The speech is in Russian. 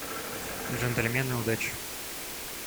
джентльмены удачи